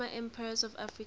former empires of africa